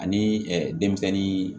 Ani denmisɛnnin